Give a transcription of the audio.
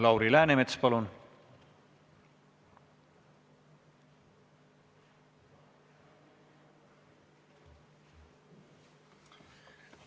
Lauri Läänemets, palun!